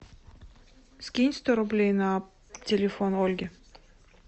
скинь сто рублей на телефон ольге